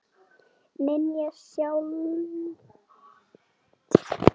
Nýja Sjáland